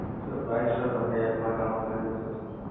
sir price sir તમને app માં જાણવા મળી જશે sir